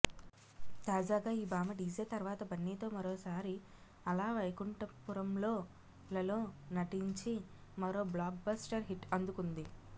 తాజాగా ఈ భామ డీజే తర్వాత బన్నీతో మరోసారి అల వైకుంఠపురములోలలో నటించి మరో బ్లాక్ బస్టర్ హిట్ అందుకుంది